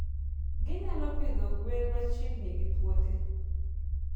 Ginyalo pidho gwen machiegni gi puothe.